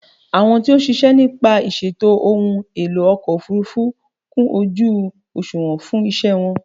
Àwọn tí ó ń ṣiṣẹ́ nípa ìṣètò ohun èlò ọkọ̀ òfúrúfú kún ojú òsùnwọ̀n fún ìṣe wọn.